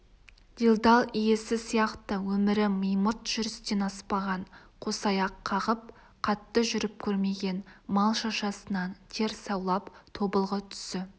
делдал иесі сияқты өмірі мимырт жүрістен аспаған қосаяқ қағып қатты жүріп көрмеген мал шашасынан тер саулап тобылғы түсі